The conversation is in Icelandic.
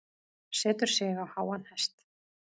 Setur sig á háan hest.